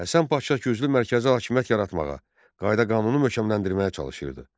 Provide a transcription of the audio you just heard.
Həsən Paşa güclü mərkəzi hakimiyyət yaratmağa, qayda-qanunu möhkəmləndirməyə çalışırdı.